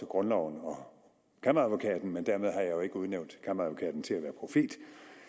grundloven og kammeradvokaten men dermed har jeg jo ikke udnævnt kammeradvokaten til at være profet